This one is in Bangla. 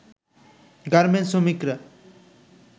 গার্মেন্টস শ্রমিকরা